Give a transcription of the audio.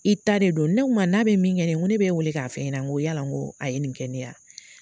I ta de don. Ne k'u ma n'a bɛ min kɛ ne ye, n ko ne be wele k'a fe ɲɛna, n ko yala n ko a ye nin kɛ ne ye ?